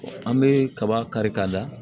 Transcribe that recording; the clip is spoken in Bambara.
An bɛ kaba kari-kada